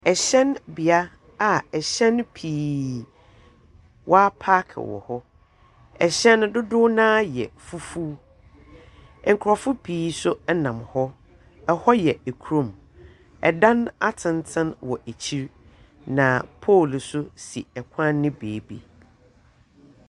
Ɛhyɛn bea a ɛhyɛn pii wɔapaake wɔ hɔ. Ɛhyɛn no dodow no ara yɛ fufuw. Nkorɔfo pii nso nam hɔ. Hɔ yɛ kurom. Dan atsentsen wɔ ekyir, na pole nso si kwan no beebi.